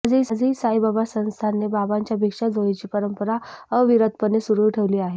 आजही साईबाबा संस्थानने बाबांच्या भिक्षा झोळीची परंपरा अविरतपणे सुरु ठेवली आहे